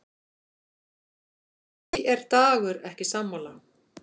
Því er Dagur ekki sammála.